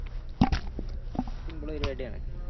Simple പരിപാടിയാണ്